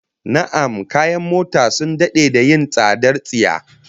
Na'am, kayan mota sun dade da yin tsadar tsiya